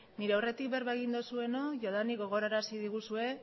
nire aurretik berba egin duzuenok jadanik gogoarazi diguzue